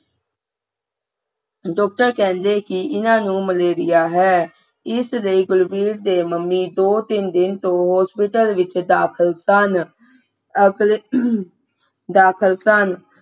doctor ਕਹਿੰਦੇ ਕਿ ਨਹੀਂ ਇਹਨਾਂ ਨੂੰ malaria ਹੈ ਇਸ ਲਈ ਗੁਣਵੀਰ ਦੇ ਮੰਮੇ ਪਿਛਲੇ ਦੋ-ਤਿੰਨ ਦਿਨਾਂ ਤੋਂ hospital ਦੇ ਵਿਚ ਦਾਖਿਲ ਸਨ ਅਗਲੇ ਦਾਖਿਲ ਸਨ